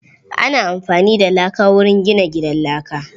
Ana amfani da laka wurin gina gidan laka.